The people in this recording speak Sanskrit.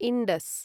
इण्डस्